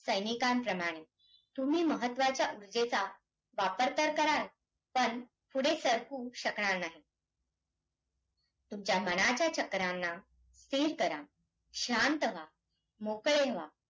कारण हा राष्ट्रपती द्वारे निर्मिती निर्माण केला जातो.